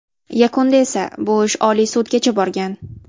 Yakunda bu ish Oliy sudgacha borgan.